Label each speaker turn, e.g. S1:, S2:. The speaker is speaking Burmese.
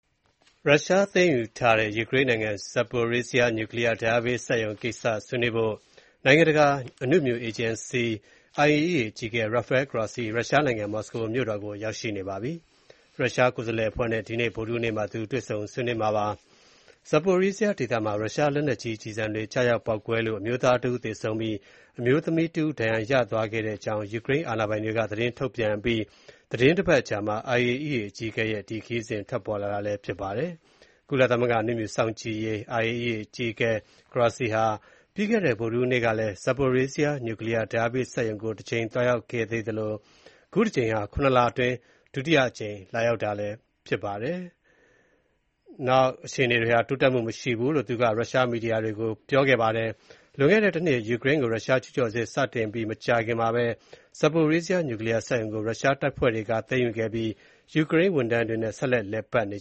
S1: ရုရှားသိမ်းယူထားတဲ့ ယူကရိန်းနိုင်ငံ Zaporizhzhia နျူကလီးယားဓါတ်အားပေးစက်ရုံ နဲ့ပတ်သက်ပြီး ဆွေးနွေးဖို့အတွက် နိုင်ငံတကာ အနုမြူအေဂျင်စီ IAEA အကြီးအကဲ Rafael Grossi ရုရှားနိုင်ငံ မော်စကိုမြို့တော်ကို ရောက်ရှိနေပါတယ်။ ရုရှား ကိုယ်စားလှယ်အဖွဲ့နဲ့ ဒီကနေ့ ဗုဒ္ဓဟူးနေ့မှာ တွေ့ဆုံ ဆွေးနွေးကြမှာပါ။ Zaporizhzhia ဒေသမှာ ရုရှား လက်နက်ကြီး ကျည်ဆံတွေ ကျရောက်ပေါက်ကွဲလို့ အမျိုးသားတဦး သေဆုံးပြီး အမျိုးသမီးတဦး ဒဏ်ရာရရှိသွားတဲ့အကြောင်း ယူကရိန်း အာဏာပိုင်တွေ က သတင်းထုတ်ပြန်ပြီး သီတင်းတပတ်အကြာမှာ IAEA အကြီးအကဲရဲ့ ခရီးစဉ် ပေါ်ထွက်လာတာလည်း ဖြစ်ပါတယ်။ ကုလသမဂ္ဂ အနုမြူ စောင့်ကြည်ရေး IAEA အကြီးအကဲ Grossi ဟာ ပြီးခဲ့တဲ့ ဗုဒ္ဓဟူးနေ့ကလည်း Zaporizhzhia နျူးကလီးယား ဓါတ်အားပေးစက်ရုံကို တကြိမ် သွားရောက်ခဲ့သေး သသလို၊ ခုတကြိမ်ဟာ ၇ လအတွင်း ဒုတိယအကြိမ် လာရောက်တာပါ။ အခြေအနေတွေဟာ တိုးတက်မှုမရှိဘူးလို့ သူက ရုရှား မီဒီယာတွေကို ပြောပါတယ်။ လွန်ခဲ့တဲ့ တနှစ် ယူကရိန်းကို ရုရှားကျူးကျော်စစ် စတင်ပြီး မကြာခင်မှာပဲ Zaporizhzhia နျူကလီးယားစက်ရုံကို ရုရုားတပ်ဖွဲ့တွေက သိမ်းယူခဲ့ပြီး ယူကရိန်း ဝန်ထမ်းတွေနဲ့ ဆက်လက် လည်ပတ်နေ